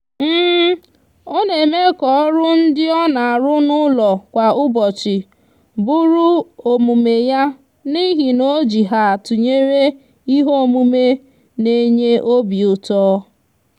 o n'eme ka oru ndi o n'aru n'ulo kwa ubochi buru omume ya nihi na o ji ha tunyere ihe omume n'enye obiuto